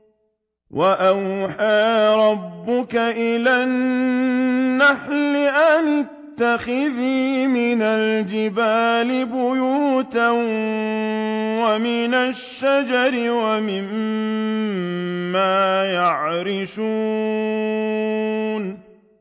وَأَوْحَىٰ رَبُّكَ إِلَى النَّحْلِ أَنِ اتَّخِذِي مِنَ الْجِبَالِ بُيُوتًا وَمِنَ الشَّجَرِ وَمِمَّا يَعْرِشُونَ